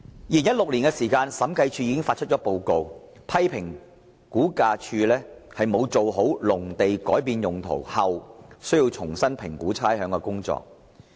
2016年的審計署署長報告書批評，估價署沒有做好農地改變用途後重新評估差餉的工作。